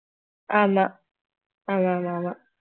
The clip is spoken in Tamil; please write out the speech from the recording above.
ஆமா ஆமா ஆமா ஆமா